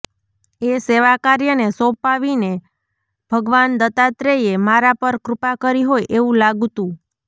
એ સેવાકાર્યને સોંપાવીને ભગવાન દત્તાત્રેયે મારા પર કૃપા કરી હોય એવું લાગતું